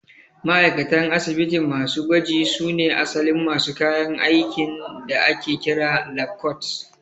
Ma'aikatan asibiti masu gwaji su ne asalin masu kayan aikin da ake kira 'lab coat'